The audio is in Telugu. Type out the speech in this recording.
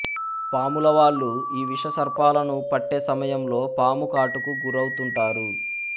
పాములవాళ్లూ ఈ విషసర్పాలను పట్టే సమయంలో పాము కాటుకు గురవు తుంటారు